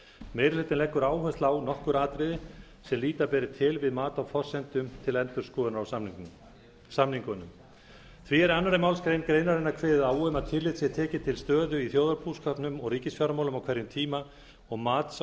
meiri hlutinn leggur áherslu á nokkur atriði sem líta beri til við mat á forsendum til endurskoðunar á samningunum því er í annarri málsgrein greinarinnar kveðið á um að tillit sé tekið til stöðu í þjóðarbúskapnum og ríkisfjármálum á hverjum tíma og mats á